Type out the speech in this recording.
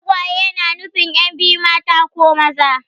Tagwaye na nufin yan' biyu mata ko maza.